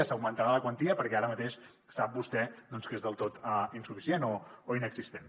se n’augmentarà la quantia perquè ara mateix sap vostè que és del tot insuficient o inexistent